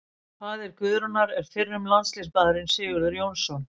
Faðir Guðrúnar er fyrrum landsliðsmaðurinn Sigurður Jónsson.